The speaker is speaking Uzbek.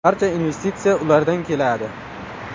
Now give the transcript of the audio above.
Barcha investitsiya ulardan keladi.